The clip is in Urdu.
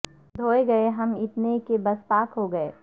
دھوئے گئے ہم اتنے کہ بس پاک ہو گئے